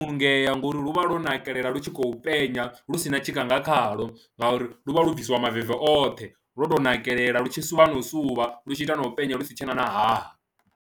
Vhulungea ngo uri lu vha lwo nakelela lu tshi khou penya lu si na tshikha nga khaḽo ngauri lu vha lu bvisiwa maveve oṱhe, lwo tou nakelela lu tshi u suvha no suvha lu tshi ita na u penya lu si tshe na haha.